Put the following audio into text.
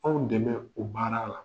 Anw dɛmɛ o baara la.